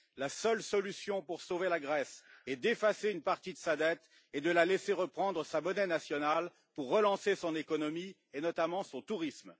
La seule solution pour sauver la Grèce est d'effacer une partie de sa dette et de la laisser reprendre sa monnaie nationale pour relancer son économie et notamment son tourisme.